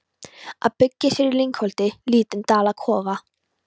Að byggja sér í lyngholti lítinn dalakofa.